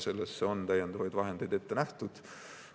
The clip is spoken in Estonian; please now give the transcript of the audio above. Selleks on täiendavaid vahendeid ette nähtud.